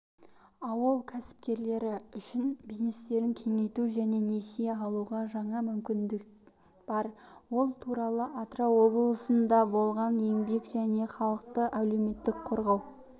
ауыл кәсіпкерлері үшін бизнестерін кеңейтуге және несие алуға жаңа мүмкіндік бар ол туралы атырау облысында болған еңбек және халықты әлеуметтік қорғау